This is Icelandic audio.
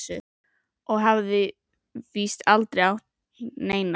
Og hafði víst aldrei átt neina.